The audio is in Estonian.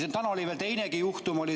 Sest täna oli siin veel teinegi juhtum ...